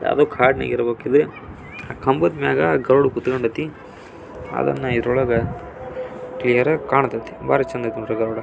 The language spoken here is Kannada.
ಯಾವುದೊ ಕಾಡು ಇರ್ಬೇಕು ಇದು ಕಂಬದ ಮೇಲೆ ಗರಡು ಕೂತು ಕೊಂಡೈತೆ ಅದನ್ನ ಇದ್ರೊಳಗೆ ಕ್ಲಿಯರ್ ಆಗಿ ಕಾಣುತದೆ ಬಾರಿ ಚಂದ್ ಇದೆ ನೋಡಿ ಗರುಡ. --